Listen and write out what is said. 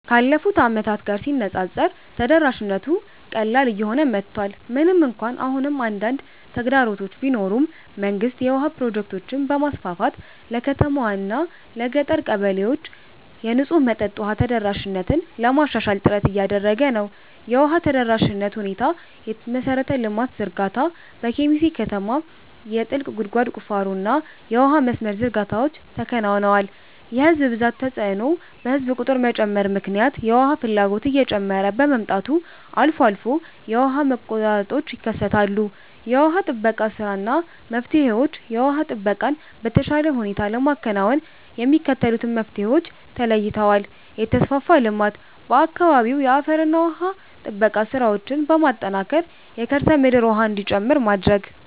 ካለፉት ዓመታት ጋር ሲነፃፀር ተደራሽነቱ ቀላል እየሆነ መጥቷል። ምንም እንኳን አሁንም አንዳንድ ተግዳሮቶች ቢኖሩም፣ መንግስት የውሃ ፕሮጀክቶችን በማስፋፋት ለከተማዋና ለገጠር ቀበሌዎች የንጹህ መጠጥ ውሃ ተደራሽነትን ለማሻሻል ጥረት እያደረገ ነው። የውሃ ተደራሽነት ሁኔታየመሠረተ ልማት ዝርጋታ፦ በኬሚሴ ከተማ የጥልቅ ጉድጓድ ቁፋሮና የውሃ መስመር ዝርጋታዎች ተከናውነዋል። የሕዝብ ብዛት ተጽዕኖ፦ በሕዝብ ቁጥር መጨመር ምክንያት የውሃ ፍላጎት እየጨመረ በመምጣቱ አልፎ አልፎ የውሃ መቆራረጦች ይከሰታሉ። የውሃ ጥበቃ ሥራና መፍትሄዎችየውሃ ጥበቃን በተሻለ ሁኔታ ለማከናወን የሚከተሉት መፍትሄዎች ተለይተዋል፦ የተፋሰስ ልማት፦ በአካባቢው የአፈርና ውሃ ጥበቃ ሥራዎችን በማጠናከር የከርሰ ምድር ውሃ እንዲጨምር ማድረግ።